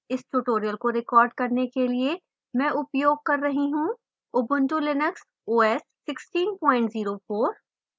इस tutorial को record करने के लिए मैं उपयोग कर रही हूँ